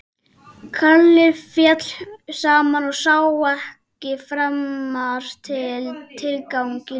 Kalli féll saman og sá ekki framar tilganginn í lífinu.